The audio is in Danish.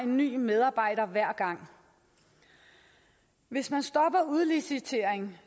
en ny medarbejder hver gang hvis man stopper udlicitering